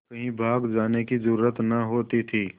कहीं भाग जाने की जरुरत न होती थी